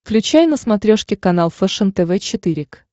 включай на смотрешке канал фэшен тв четыре к